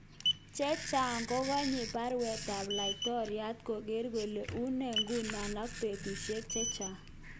Chechang kokenyi baruetab laitoriat koker kole unee ngunoo ak petushek chepw�ne